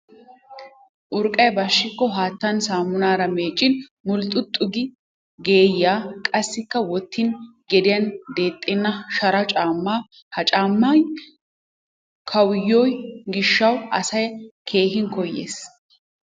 Urqqay bashshikko haattan saammunaara meeccin mulxxuxxi geeyyiya qassikka wotin gediyan deexxenna shara caammaa. Ha caammay kawuyyoyo gishshawu asay a keehi koyyes.